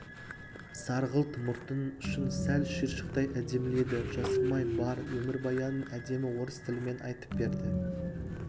сарғылт мұртының ұшын сәл шиыршықтай әдеміледі жасырмай бар өмірбаянын әдемі орыс тілімен айтып берді